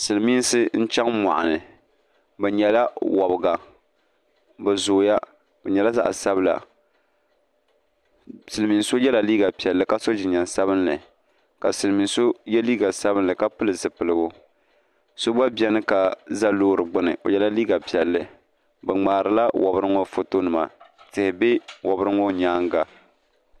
Silimiinsi n-chaŋ mɔɣuni bɛ nyala wabiga bɛ zooya bɛ nyɛla zaɣ’ sabila silimiin’ so ye la liiga piɛlli ka so jinjam sabinli ka silimiin’ so ye liiga sabinli ka pili zipiligu so gba beni ka za loori gbini o ye la liiga piɛlli bɛ ŋmaarila wabiri ŋɔ fotonima tihi be wabiri ŋɔ nyaaŋga